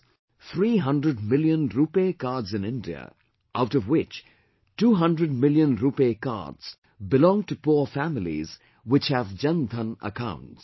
300 million RuPay Cards in India, out of which 200 million RuPay Cards belong to poor families which have 'Jan Dhan' accounts